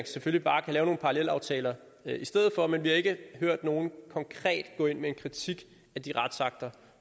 selvfølgelig bare kan lave nogle parallelaftaler i stedet for men vi har ikke hørt nogen konkret gå ind med en kritik af de retsakter